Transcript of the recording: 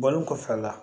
Bɔlen kɔfɛ a la